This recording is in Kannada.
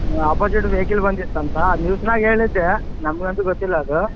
Opposite vehicle ಬಂದಿತ್ತಂತ news ನಾಗ ಹೇಳಿದ್ದೇ ನಮಗ ಅಂತೂ ಗೊತ್ತಿಲ್ಲ ಅದು.